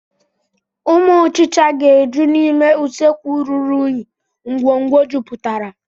Ụmụ ọchicha ga-eju n'ime usekwu ruru unyi ngwongwo jupụtara.